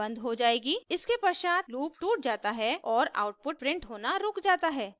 इसके पश्चात लूप टूट जाता है और आउटपुट प्रिंट होना रुक जाता है